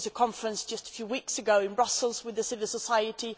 There was a conference just a few weeks ago in Brussels with civil society.